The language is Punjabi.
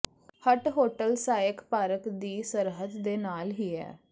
ਹੱਟ ਹੋਟਲ ਸਾਏਕ ਪਾਰਕ ਦੀ ਸਰਹੱਦ ਦੇ ਨਾਲ ਹੀ ਹੈ